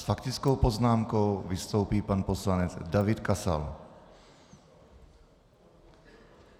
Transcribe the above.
S faktickou poznámkou vystoupí pan poslanec David Kasal.